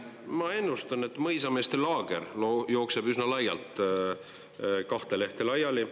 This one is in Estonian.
Ma ennustan, et mõisameeste laager jookseb üsna laialt kahte lehte laiali.